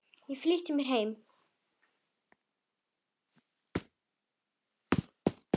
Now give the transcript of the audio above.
Ég flýtti mér heim.